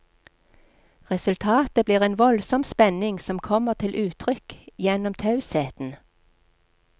Resultatet blir en voldsom spenning som kommer til uttrykk gjennom tausheten.